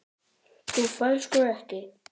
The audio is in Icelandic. Þú færð sko ekki.